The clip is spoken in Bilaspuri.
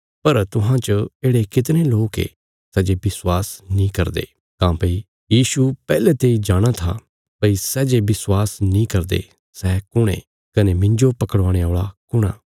पर तुहां च येढ़े कितणे लोक ये सै जे विश्वास नीं करदे काँह्भई यीशु पैहले तेई जाणाँ था भई सै जे विश्वास नीं करदे सै कुण ये कने मिन्जो पकड़वाणे औल़ा कुण आ